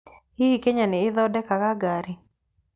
Hihi Kenya nĩ ĩthondekaga ngari?